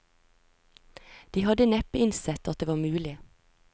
De hadde neppe innsett at det var mulig.